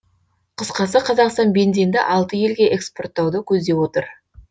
қысқасы қазақстан бензинді алты елге экспорттауды көздеп отыр